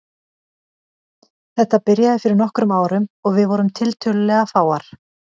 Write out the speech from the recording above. Þetta byrjaði fyrir nokkrum árum og við vorum tiltölulega fáar.